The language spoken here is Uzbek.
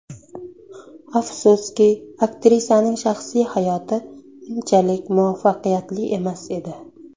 Afsuski, aktrisaning shaxsiy hayoti unchalik muvaffaqiyatli emas edi.